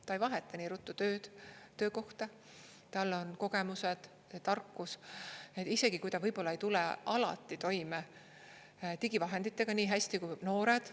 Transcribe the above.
Ta ei vaheta nii ruttu tööd, töökohta, tal on kogemused, tarkus, isegi kui ta võib-olla ei tule alati toime digivahenditega nii hästi kui noored.